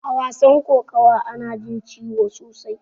A wasan kokawa ana jin ciwo sosai.